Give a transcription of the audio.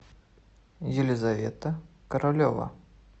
елизавета королева